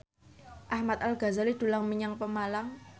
Ahmad Al Ghazali dolan menyang Pemalang